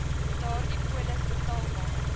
daardie polis betaalbaar